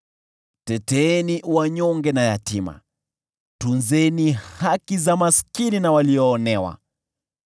Teteeni wanyonge na yatima, tunzeni haki za maskini na walioonewa.